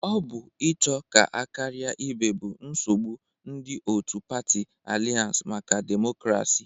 Ọ bụ ịcho ka a karia ibe bụ nsogbụ ndị otu patị Alianse maka demokrasi.